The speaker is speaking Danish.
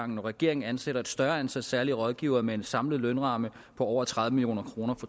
når regeringen ansætter et større antal særlige rådgivere med en samlet lønramme på over tredive million kroner